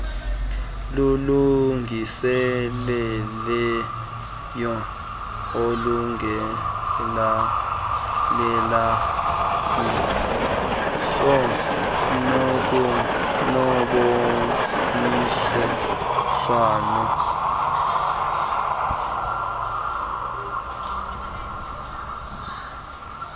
lulungiselelwe ulungelelaniso noboniswano